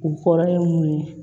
U kɔrɔ ye mun ye